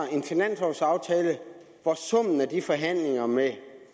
hvor summen af de forhandlinger med